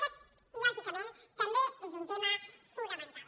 aquest lògicament també és un tema fonamental